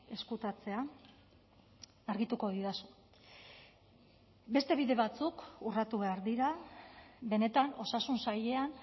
ezkutatzea argituko didazu beste bide batzuk urratu behar dira benetan osasun sailean